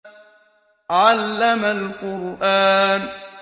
عَلَّمَ الْقُرْآنَ